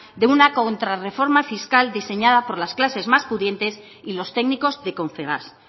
de una contrarreforma fiscal diseñada por las clases más pudientes y los técnicos de confebask